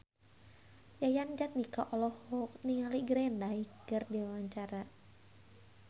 Yayan Jatnika olohok ningali Green Day keur diwawancara